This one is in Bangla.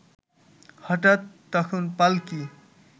হঠাৎ তখন পাল্কী